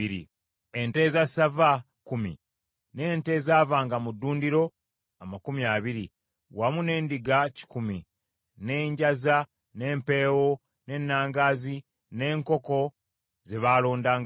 ente eza ssava kkumi, n’ente ezaavanga mu ddundiro amakumi abiri, wamu n’endiga kikumi, n’enjaza, n’empeewo, n’ennangaazi, n’enkoko ze baalondangamu.